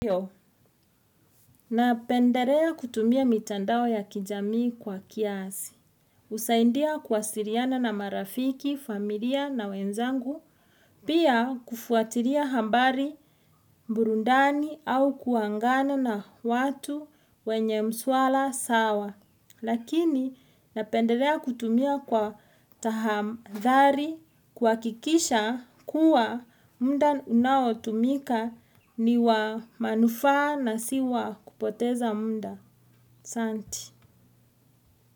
Napenderea kutumia mitandao ya kijamii kwa kiasi. Usaindia kuwasiriana na marafiki, familia na wenzangu. Pia kufuatiria hambari, burundani au kuangana na watu wenye mswala sawa. Lakini napendelea kutumia kwa tahadhari kuwakikisha kuwa muda unawo tumika niwa manuaa na siwa kupoteza muda. Santi.